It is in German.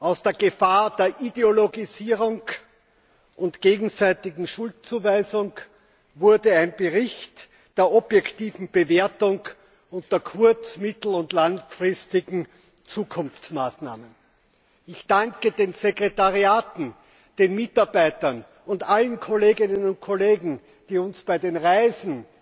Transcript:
Aus der Gefahr der Ideologisierung und gegenseitigen Schuldzuweisung wurde ein Bericht der objektiven Bewertung und der kurz mittel und langfristigen Zukunftsmaßnahmen. Ich danke den Sekretariaten, den Mitarbeitern und allen Kolleginnen und Kollegen, die uns bei den Reisen,